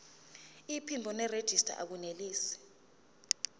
iphimbo nerejista akunelisi